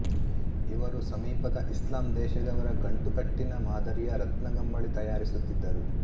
ಇವರು ಸಮೀಪದ ಇಸ್ಲಾಂ ದೇಶದವರ ಗಂಟುಕಟ್ಟಿನ ಮಾದರಿಯ ರತ್ನಗಂಬಳಿ ತಯಾರಿಸುತ್ತಿದ್ದರು